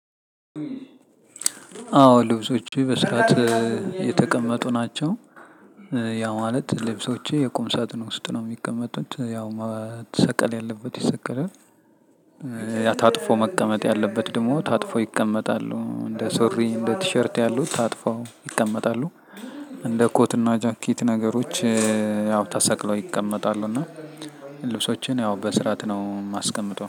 አዎ ልብሶቼ በስርዓት የተቀመጡ ናቸው። ያ ማለት ልብሶቼ የቁም ሳጥን ውስጥ ነው የሚቀመጡት ያው መሰቀል ያለበት ይሰቀላል። ያ ታጥፎ መቀመጥ ያለበት ደግሞ ታጥፎ ይቀመጣሉ እንደ ሱሪ እንደ ቲሸርት ያሉት ታጥፎ ይቀመጣሉ። እንደ ኮትና ጃኬት ነገሮች ያው ተሰቅለው ይቀመጣሉ። እና ልብሶቼን ያው በስርዓት ነው የማስቀምጠው